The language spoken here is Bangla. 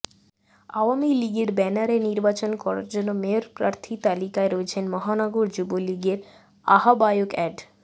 আওয়ামী লীগের ব্যানারে নির্বাচন করার জন্য মেয়র প্রার্থী তালিকায় রয়েছেন মহানগর যুবলীগের আহ্বায়ক অ্যাড